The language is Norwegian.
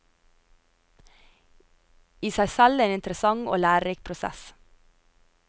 I seg selv en interessant og lærerik prosess.